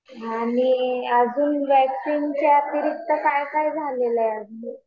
आणि अजून वॅक्सिन्ग च्या व्यतिरिक्त काय काय झालेलं आहे?